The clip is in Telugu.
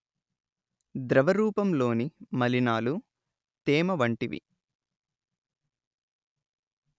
ద్రవరూపంలోని మలినాలు తేమ వంటివి